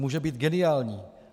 Může být geniální.